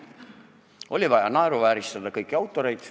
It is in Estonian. Oli vaja naeruvääristada kõiki autoreid.